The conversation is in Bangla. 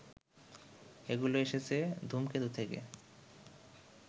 এগুলো এসেছে ধুমকেতু থেকে